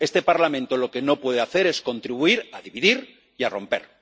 Este Parlamento lo que no puede hacer es contribuir a dividir y a romper.